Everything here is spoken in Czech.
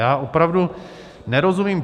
Já opravdu nerozumím.